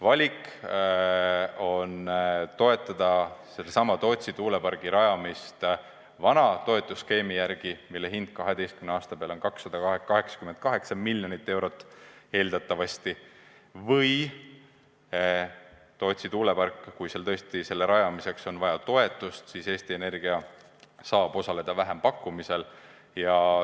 Valik on toetada Tootsi tuulepargi rajamist vana toetusskeemi järgi, mille hind 12 aasta peale on eeldatavasti 288 miljonit eurot, või kui tõesti Tootsi tuulepargi rajamiseks on vaja toetust, siis Eesti Energia saab osaleda vähempakkumisel.